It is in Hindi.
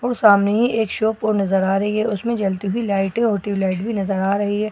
और सामने ही एक शॉप और नजर आ रही है उसमें जलती हुई लाइटें और ट्यूबलाइट भी नजर आ रही है।